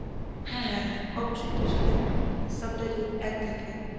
হ্যাঁ হ্যাঁ হ্যাঁ অবশ্যই এইটার সাথে subtitle add থাকে,